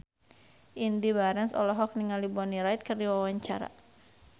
Indy Barens olohok ningali Bonnie Wright keur diwawancara